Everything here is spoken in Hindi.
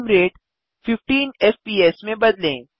फ्रेम रेट 15 एफपीएस में बदलें